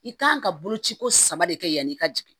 I kan ka boloci ko saba de kɛ yanni i ka jigin